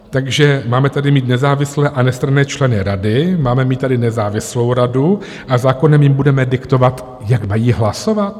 Takže máme tady mít nezávislé a nestranné členy rady, máme mít tady nezávislou radu, a zákonem jim budeme diktovat, jak mají hlasovat?